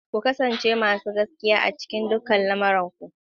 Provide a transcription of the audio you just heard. Ku kasance masu gaskiya a cikin dukkan lamuran ku.